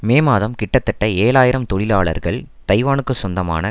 மே மாதம் கிட்டத்தட்ட ஏழு ஆயிரம் தொழிலாளர்கள் தைவானுக்கு சொந்தமான